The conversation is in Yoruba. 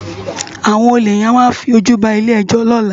Awòn ólé yèn á fi ójú bá ilé èjò lòlá